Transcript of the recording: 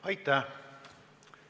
Aitäh!